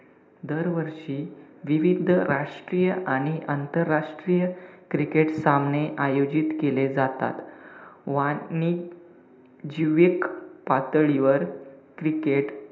दरवर्षी विविध राष्ट्रीय आणि आंतरराष्ट्रीय cricket सामने आयोजित केले जातात. वाटणी जीवेक पातळीवर cricket,